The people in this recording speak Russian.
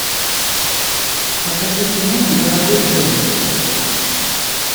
покажи кино дорогой джон